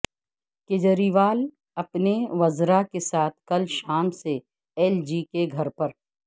کیجریوال اپنے وزراء کے ساتھ کل شام سے ایل جی کے گھر پر